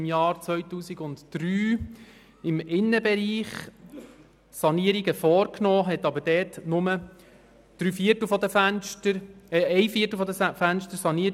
Im Jahr 2003 wurden im Innenbereich Sanierungen vorgenommen, dabei aber nur ein Viertel der Fenster saniert.